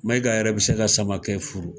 Mayiga yɛrɛ be se ka Samake furu.